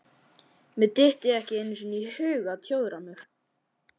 Mér dytti ekki einu sinni í hug að tjóðra mig.